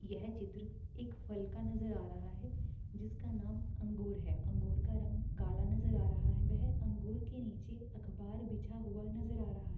यह चित्र एक फल का नजर आ रहा है| जिसका नाम अंगूर है| अंगूर का रंग काला नज़र आ रहा है| वह अंगूर के नीचे अखबार बिछा हुआ नजर आ रहा है।